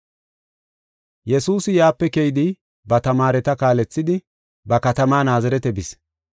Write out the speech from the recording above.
Yesuusi yaape keyidi, ba tamaareta kaalethidi, ba katama Naazirete bis.